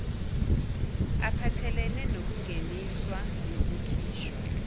aphathelene nokungeniswa nokukhishwa